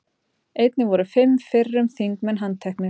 Einnig voru fimm fyrrum þingmenn handteknir